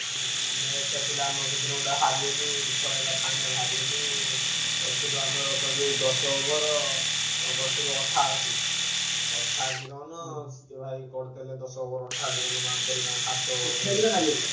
ଆଉ match ଟା ଥିଲା ଆମର ସେଦିନ ଗୋଟେ ହାରିଗଲୁ ଦୁଃଖ ଲାଗିଲା final ହାରିଗଲୁ। କରିଥିଲୁ ଆମର କହିଲୁ ଦଶ over ଅଁ କରିଥିଲୁ ଅଠାଅଶି। ଅଠାଅଶି run ସିଏ ଭାଇ କରିଦେଲେ ଦଶ over ଅଠାଅଶି run କରିଦେଲେ ତାଙ୍କ ସାତ